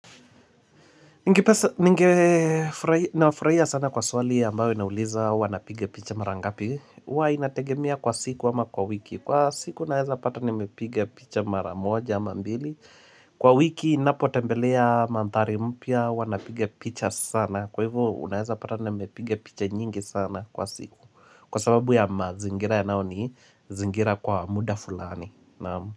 Nafraia sana kwa swali ambayo inauliza huwa napiga picha maraa ngapi huwa inategemea kwa siku ama kwa wiki Kwa siku naeza pata nimepiga picha maraa moja ama mbili Kwa wiki ninapo tembelea manthari mpya huwa napige picha sana Kwa hivyo unaeza pata nimepiga picha nyingi sana kwa siku Kwa sababu ya mazingira yanayoni zingira kwa muda fulani.